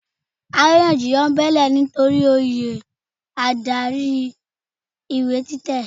Àrínyànjiyàn bẹ́ẹ́lẹ̀ nitori oyè adarí ìwé títẹ̀.